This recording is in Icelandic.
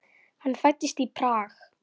Hann fæddist í Prag.